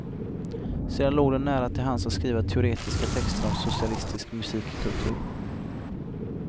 Sedan låg det nära till hands att skriva teoretiska texter om socialistisk musikkultur.